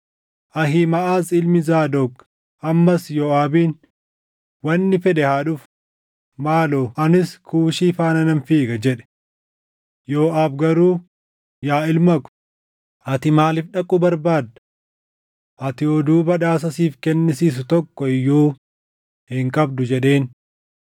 Ahiimaʼaz ilmi Zaadoq ammas Yooʼaabiin, “Wanni fedhe haa dhufu; maaloo anis Kuushii faana nan fiiga” jedhe. Yooʼaab garuu, “Yaa ilma ko, ati maaliif dhaquu barbaadda? Ati oduu badhaasa siif kennisiisu tokko iyyuu hin qabdu” jedheen.